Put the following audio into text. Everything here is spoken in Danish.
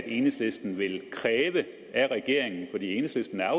enhedslisten vil kræve af regeringen for enhedslisten er